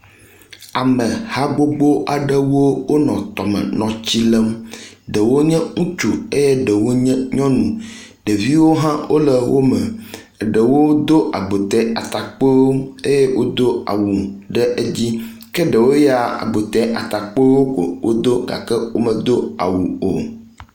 Ame ha gbogbo aɖewo wonɔ tɔme nɔ tsi lem. Ɖewo nye ŋutsu eye ɖewo nye nyɔnu. Ɖeviwo hã wo le wo me eɖewo do agbote atakpuiwo eye wodo awu ɖe edzi ke ɖewo ya agbote atakpuiwo ko wodo gake womedo awu o.